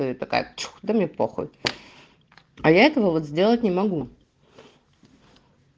да и такая чух да мне похуй а я этого вот сделать не могу